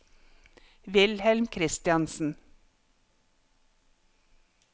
Wilhelm Christiansen